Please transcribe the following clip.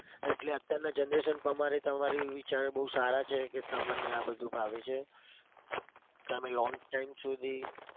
એટલે અત્યારની generation પ્રમાણે તમારા વિચારો બઉ સારા છે કે તમને આ બધું ફાવે છે. તમે long time સુધી